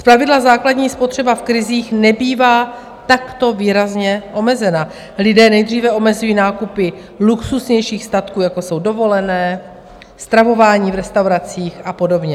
Zpravidla základní spotřeba v krizích nebývá takto výrazně omezena, lidé nejdříve omezí nákupy luxusnějších statků, jako jsou dovolené, stravování v restauracích a podobně.